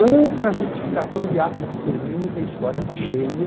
Ou para justificação de atos de extermínio, que a história está cheia,